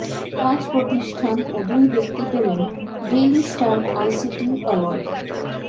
পাঁচ প্রতিষ্ঠান ও দুই ব্যক্তি পেলেন ডেইলি স্টার আইসিটি অ্যাওয়ার্ড